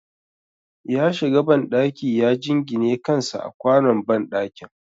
Ya shiga banɗaki ya jingine kansa a kwanon banɗaki